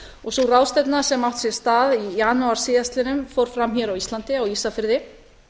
og sú ráðstefna sem átti sér stað í janúar síðastliðnum fór fram hér á landi á ísafirði